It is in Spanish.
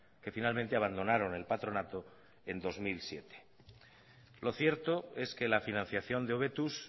que finalmente abandonaron el patronato en dos mil siete lo cierto es que la financiación de hobetuz